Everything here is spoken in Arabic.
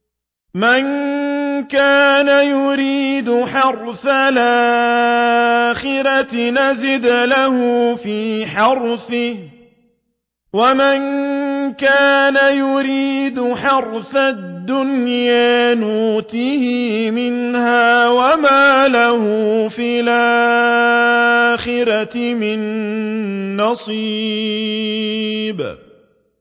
مَن كَانَ يُرِيدُ حَرْثَ الْآخِرَةِ نَزِدْ لَهُ فِي حَرْثِهِ ۖ وَمَن كَانَ يُرِيدُ حَرْثَ الدُّنْيَا نُؤْتِهِ مِنْهَا وَمَا لَهُ فِي الْآخِرَةِ مِن نَّصِيبٍ